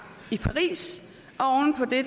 i paris og oven på det